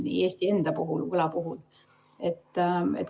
Nii on Eesti enda võla puhul.